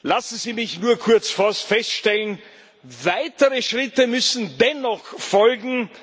Lassen Sie mich nur kurz etwas feststellen Weitere Schritte müssen dennoch folgen.